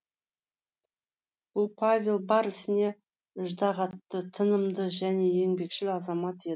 бұл павел бар ісіне іждағатты тынымды және еңбекшіл азамат